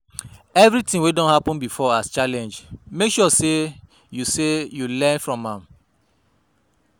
Evritin wey don happen bifor as challenge mek sure sey yu sey yu learn from am